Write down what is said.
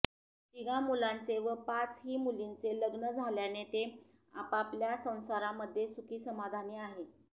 तिघा मुलांचे व पाच ही मुलींचे लग्न झाल्याने ते आपापल्या संसारामध्ये सुखी समाधानी आहे